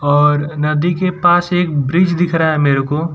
और नदी के पास एक ब्रिज दिख रहा है मेरे को --